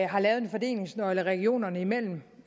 har lavet en fordelingsnøgle regionerne imellem